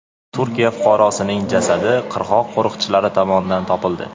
Turkiya fuqarosining jasadi qirg‘oq qo‘riqchilari tomonidan topildi.